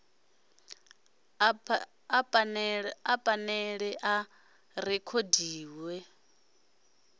a phanele a a rekhodiwa